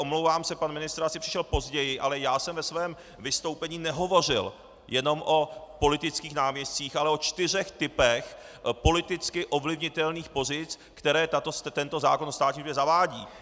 Omlouvám se, pan ministr asi přišel později, ale já jsem ve svém vystoupení nehovořil jenom o politických náměstcích, ale o čtyřech typech politicky ovlivnitelných pozic, které tento zákon o státní službě zavádí.